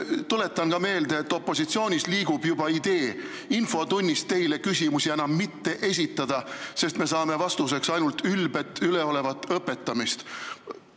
Tuletan ka meelde, et opositsioonis liigub juba idee infotunnis teile küsimusi enam mitte esitada, sest me saame vastuseks ainult ülbet-üleolevat õpetamist.